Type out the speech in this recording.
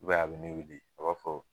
I b'aw ye i bi ne weele, a b'a fɔ